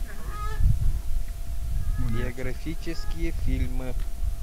биографические фильмы